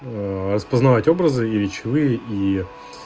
распознавать образы и речевые и